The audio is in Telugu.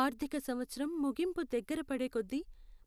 ఆర్థిక సంవత్సరం ముగింపు దగ్గరపడే కొద్దీ,